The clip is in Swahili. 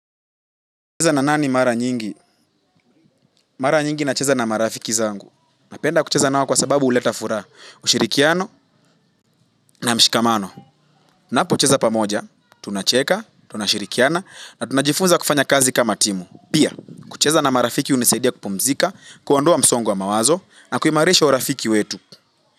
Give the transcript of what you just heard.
Kucheza na nani mara nyingi? Mara nyingi nacheza na marafiki zangu. Napenda kucheza nao kwa sababu huleta furaha. Ushirikiano na mshikamano. Napocheza pamoja, tunacheka, tunashirikiana, na tunajifunza kufanya kazi kama timu. Pia, kucheza na marafiki hunisaidia kupumzika, kuondoa msongo wa mawazo, na kuimarisha urafiki wetu.